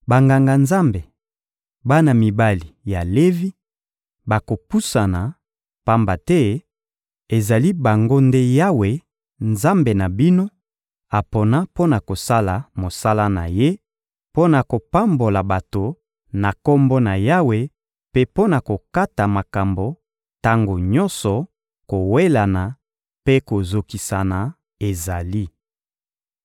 Banganga-Nzambe, bana mibali ya Levi, bakopusana; pamba te ezali bango nde Yawe, Nzambe na bino, apona mpo na kosala mosala na Ye, mpo na kopambola bato na Kombo na Yawe mpe mpo na kokata makambo tango nyonso kowelana mpe kozokisana ezali.